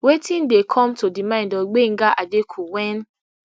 wetin dey come to di mind of gbenga adeku wen